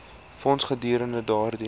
fonds gedurende daardie